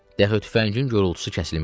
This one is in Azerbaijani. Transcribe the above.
Daha tüfəngin qorultusu kəsilmişdi.